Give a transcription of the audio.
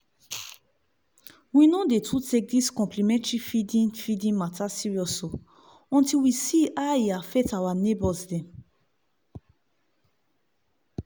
we no too dey take dis complementary feeding feeding mata serious o until we see how e affect our neighbors dem.